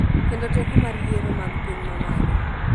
kendo teko mar yiero mag piny ma malo